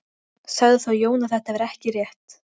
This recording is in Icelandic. Sagði þá Jón að þetta væri ekki rétt.